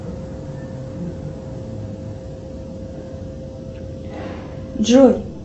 джой